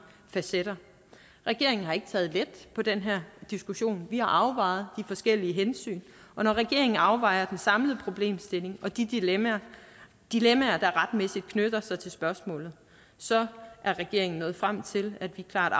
facetter regeringen har ikke taget let på den her diskussion vi har afvejet de forskellige hensyn og når regeringen afvejer den samlede problemstilling og de dilemmaer dilemmaer der retmæssigt knytter sig til spørgsmålene så er regeringen nået frem til at vi klart